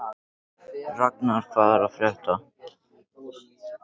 Raknar, hvað er að frétta?